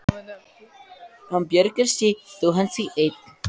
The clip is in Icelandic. Bjargar sér þó að hann sé einn.